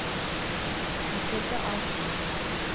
Mathilde Arntzen